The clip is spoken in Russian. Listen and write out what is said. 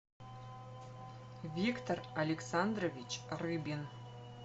виктор александрович рыбин